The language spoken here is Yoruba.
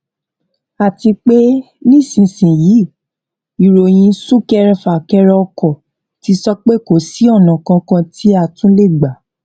àti pé nísinsìnyí ìròyìn súnkẹrẹ fàkẹrẹ ọkọ ti sọ pé kò sí ọnà kankan tí a tún lè gbà